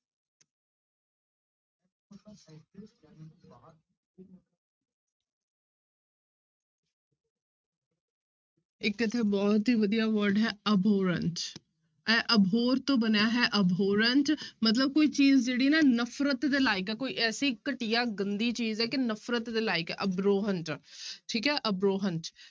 ਇੱਕ ਇੱਥੇ ਬਹੁਤ ਹੀ ਵਧੀਆ word ਹੈ abhorrent ਇਹ abhor ਤੋਂ ਬਣਿਆ ਹੈ abhorrent ਮਤਲਬ ਕੋਈ ਚੀਜ਼ ਜਿਹੜੀ ਨਾ ਨਫ਼ਰਤ ਦੇ ਲਾਇਕ ਹੈ ਕੋਈ ਐਸੀ ਘਟੀਆ ਗੰਦੀ ਚੀਜ਼ ਹੈ ਕਿ ਨਫ਼ਰਤ ਦੇ ਲਾਇਕ ਹੈ abhorrent ਠੀਕ ਹੈ abhorrent